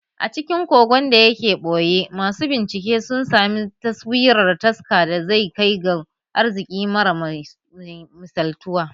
A cikin kogon da yake a ɓoye, masu bincike sun sami taswirar taska da zai kai ga arziƙi mara misaltuwa